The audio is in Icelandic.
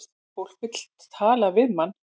Fólk vill tala við mann